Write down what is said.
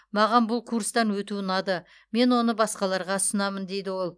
маған бұл курстан өту ұнады мен оны басқаларға ұсынамын дейді ол